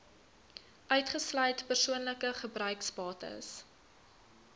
uitgesluit persoonlike gebruiksbates